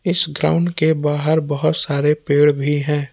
इस ग्राउंड के बाहर बहोत सारे पेड़ भी है।